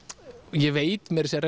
ég veit meira að segja